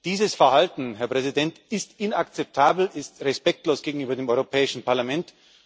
Dieses Verhalten, Herr Präsident, ist inakzeptabel, ist respektlos gegenüber dem Europäischen Parlament.